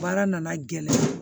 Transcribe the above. Baara nana gɛlɛn